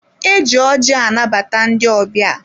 E ji ọjị anabata ndị ọbịa.